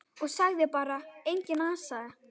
Og sagði bara: Engan asa.